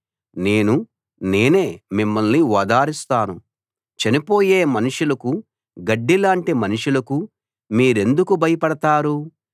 నేను నేనే మిమ్మల్ని ఓదారుస్తాను చనిపోయే మనుషులకు గడ్డిలాంటి మనుషులకు మీరెందుకు భయపడతారు